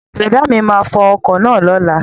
Brọ̀dá mi máa fo ọkọ̀ náà lóla